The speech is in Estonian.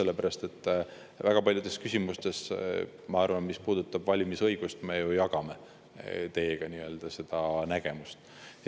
Ma arvan, et väga paljudes küsimustes, mis puudutavad valimisõigust, me jagame teiega nägemust.